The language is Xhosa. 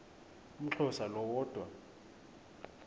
umxhosa lo woda